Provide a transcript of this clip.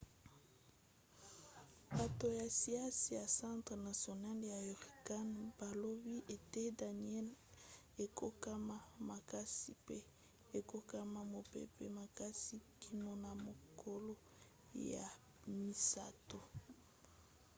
bato ya siansi ya centre national ya hurricane balobi ete danielle ekokoma makasi mpe ekokoma mopepe makasi kino na mokolo ya misato